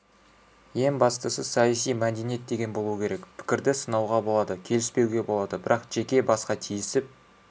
ең бастысы саяси мәдениет деген болуы керек пікірді сынауға болады келіспеуге болады бірақ жеке басқа тиісіп